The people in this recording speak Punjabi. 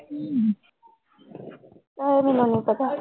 ਉਹ ਪਤਾ।